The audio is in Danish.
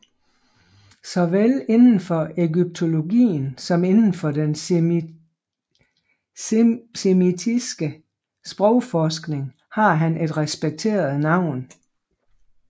Såvel inden for egyptologien som inden for den semitiske sprogforskning har han et respekteret navn